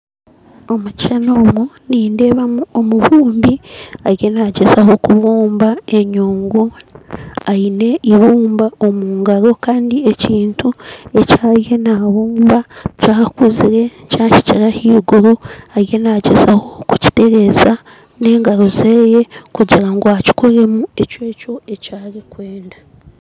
Omu kishushani eki nindeebamu omubumbi arimu nagyezaho kubumba enyungu aine ibumba omugaro kandi ekintu eki ariyo nabumba kyakuzire kyahikire ahaiguru ariyo nagyezaho kukiteereza n'engaro ze kugura ngu akikoreemu ekyo ekyarikwenda